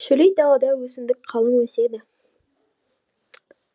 шөлейт далада өсімдік қалың өседі